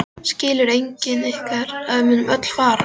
Skilur enginn ykkar að við munum öll farast?